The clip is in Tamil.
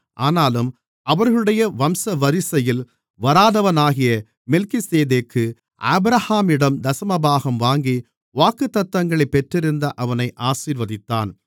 ஆனாலும் அவர்களுடைய வம்சவரிசையில் வராதவனாகிய மெல்கிசேதேக்கு ஆபிரகாமிடம் தசமபாகம் வாங்கி வாக்குத்தத்தங்களைப் பெற்றிருந்த அவனை ஆசீர்வதித்தான்